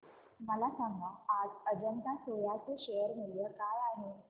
मला सांगा आज अजंता सोया चे शेअर मूल्य काय आहे